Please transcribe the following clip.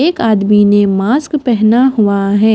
एक आदमी ने मास्क पहना हुआ है।